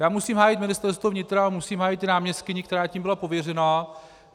Já musím hájit Ministerstvo vnitra, musím hájit i náměstkyni, která tím byla pověřena.